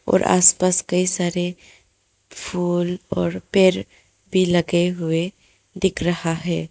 और आस पास कई सारे फूल और पेड़ भी लगे हुए दिख रहा है।